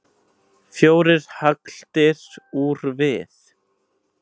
Fjórar hagldir úr við.